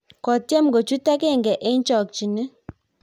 kotyem kochuut agenge eng' chokchinet